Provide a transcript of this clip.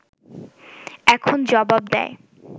এখন জবাব দেয়